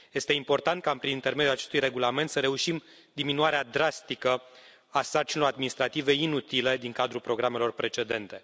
Este important ca prin intermediul acestui regulament să reușim diminuarea drastică a sarcinilor administrative inutile din cadrul programelor precedente.